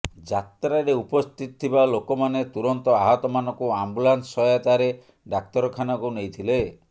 ଯାତ୍ରାରେ ଉପସ୍ଥିତ ଥିବା ଲୋକମାନେ ତୁରନ୍ତ ଆହତମାନଙ୍କୁ ଆମ୍ବୁଲାନ୍ସ ସହାୟତାରେ ଡାକ୍ତରଖାନାକୁ ନେଇଥିଲେ